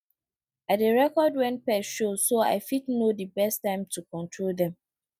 i dey record when pests show so i fit know the best time to control dem